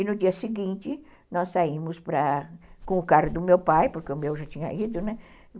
E no dia seguinte, nós saímos com o carro do meu pai, porque o meu já tinha ido, né?